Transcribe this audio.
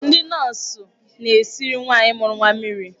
Ndị nọọsụ na-esiri nwaanyị mụrụ nwa mmiri.